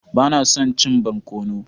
Ba na son cin barkono.